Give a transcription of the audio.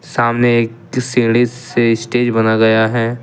सामने एक सीढ़ी से स्टेज बना गया है।